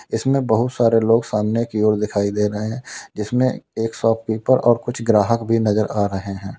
इसमें बहुत सारे लोग सामने की ओर दिखाई दे रहे हैं जिसमें एक शॉपकीपर और कुछ ग्राहक भी नजर आ रहे हैं।